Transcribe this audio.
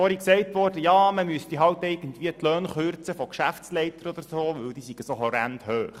Vorhin ist gesagt worden, es müssten die Löhne von Geschäftsleitern gekürzt werden, weil diese so hoch seien.